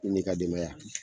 I n'i ka denbaya.